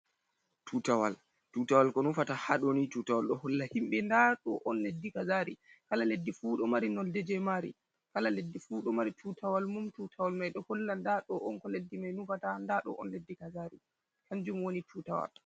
Tutawal, tutawal ko nufata ha doni tutawal ɗo holla himɓɓe nda ɗo on leddi kazari, kala leddi fuu ɗo mari nolde je mari kala leddi fu ɗo mari tutawal mum tutawal mai ɗo holla nda ɗo on ko leddi mai nufata nda ɗo on leddi kazari kanjum woni tutawal.